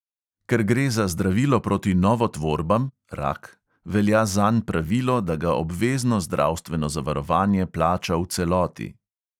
Ker gre za zdravilo proti novotvorbam velja zanj pravilo, da ga obvezno zdravstveno zavarovanje plača v celoti.